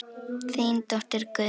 Þín dóttir, Guðný.